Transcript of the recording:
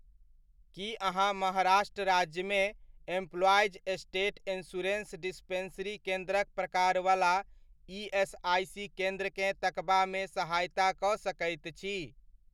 की अहाँ महाराष्ट्र राज्यमेएम्प्लॉईज़ state insurance dispensary केन्द्रक प्रकारवला ईएसआइसी केन्द्रकेँ तकबामे सहायता कऽ सकैत छी ।